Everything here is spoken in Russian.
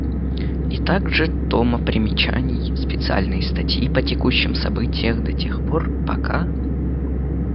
и так же тома примечаний специальные статьи по текущим события до тех пор пока